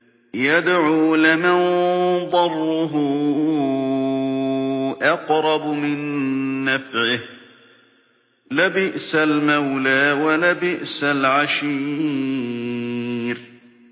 يَدْعُو لَمَن ضَرُّهُ أَقْرَبُ مِن نَّفْعِهِ ۚ لَبِئْسَ الْمَوْلَىٰ وَلَبِئْسَ الْعَشِيرُ